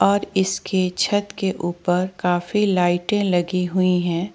और इसके छतके ऊपर काफी लाइटे लगी हुई है।